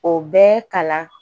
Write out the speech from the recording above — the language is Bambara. O bɛ kalan